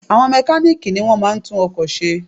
Àwọn mekáníìkì ni wọ́n máa ń tún ọkò se